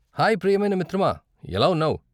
Hi ప్రియమైన మిత్రమా, ఎలా ఉన్నావు?